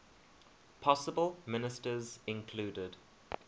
possible ministers included